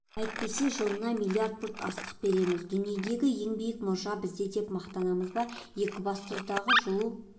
әйтпесе жылына миллард пұт астық береміз дүниедегі ең биік мұржа бізде деп мақтанамыз ба екібастұздағы жылу